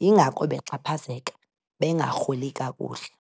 yingako bexhaphazeka, bengarholi kakuhle.